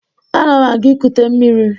Ana m aga ikute mmiri.